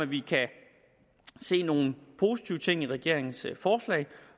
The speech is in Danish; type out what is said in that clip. vi kan se nogle positive ting i regeringens forslag